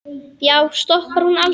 Já, stoppar hún aldrei?